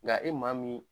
Nka e maa min